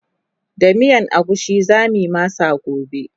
da miyan agushi zamuyi masa gobe